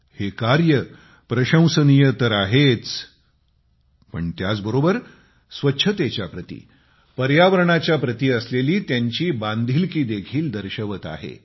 हे कार्य प्रशंसनीय तर आहेच पण त्याबरोबरच स्वच्छतेच्या प्रति पर्यावरणाच्या प्रति असलेली त्यांची बांधिलकी देखील दर्शवत आहे